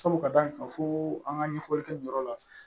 Sabu ka d'a kan fo an ka ɲɛfɔli kɛ nin yɔrɔ la